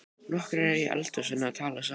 Nokkrir eru í eldhúsinu að tala saman.